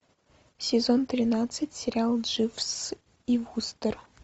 сезон тринадцать сериал дживс и вустер